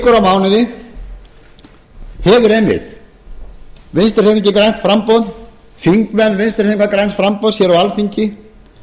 mánuði og ár hefur einmitt vinstri hreyfingin grænt framboð þingmenn vinstri hreyfingarinnar græns framboðs hér á alþingi